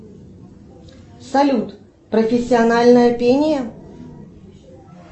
салют профессиональное пение